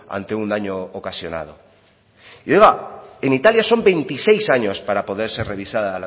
ante un daño ocasional y oiga en italia son veintiséis años para poderse revisar